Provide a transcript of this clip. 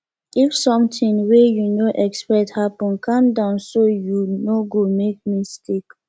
if something wey you no expect happen calm down so you no go make mistake